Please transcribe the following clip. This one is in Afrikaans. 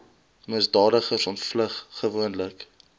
misdadigers ontvlug gewoonlik